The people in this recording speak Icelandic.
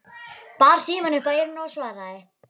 Bar símann upp að eyranu og svaraði